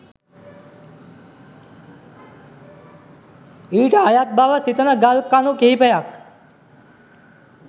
ඊට අයත් බව සිතන ගල් කණු කිහිපයක්